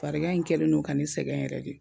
Farigan in kɛlen no ka ne sɛgɛn yɛrɛ de